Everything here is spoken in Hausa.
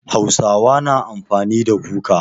Hausawa na amfani da kuka.